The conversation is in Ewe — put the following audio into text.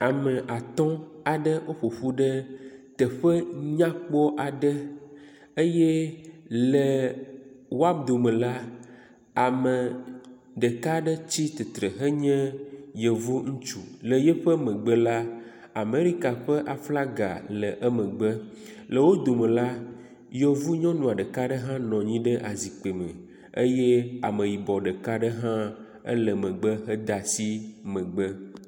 Ame atɔ aɖewo ƒoƒu ɖe teƒe nyakpɔ aɖe eye le wao dome la ame ɖeka aɖe tsi tsitre henye yevu ŋutsu le yeƒe megbe la Amerika ƒe aflaga le eƒe megbe. Le wo dome la, yevu nyɔnua ɖeka aɖe hã nɔ anyi ɖe azikpui me eye ameyibɔ ɖeka aɖe hã ele megbe hede asi megbe.